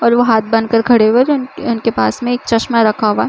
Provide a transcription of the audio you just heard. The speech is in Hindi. और वह हाथ बांध कर खड़े हुए न और उनके पास मे एक चश्मा रखा हुआ है।